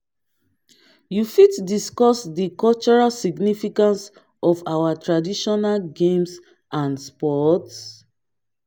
you fit discuss di cultural significance of our traditional games and sports?